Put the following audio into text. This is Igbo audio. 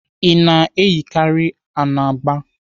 Ị na-eyikarị anagba?